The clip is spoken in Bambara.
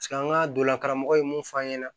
an ka donna karamɔgɔ ye mun f'an ɲɛna